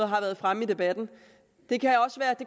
har været fremme i debatten